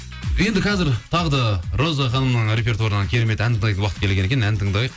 енді қазір тағы да роза ханымның репертуарынын керемет ән тыңдайтын уақыт келген екен ән тыңдайық